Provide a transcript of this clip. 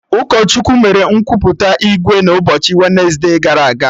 Ụkọchukwu mere nkwupụta ìgwè n'ụbọchị wensde gara aga